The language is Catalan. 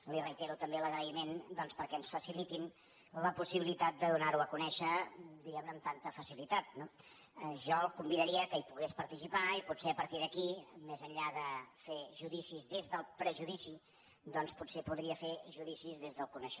li reitero també l’agraïment doncs perquè ens facilitin la possibilitat de donar·ho a conèixer di·guem·ne amb tanta facilitat no jo el convidaria que hi pogués participar i potser a partir d’aquí més enllà de fer judicis des del prejudici doncs potser podria fer judicis des del coneixement